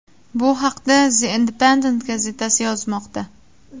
Bu haqda The Independent gazetasi yozmoqda .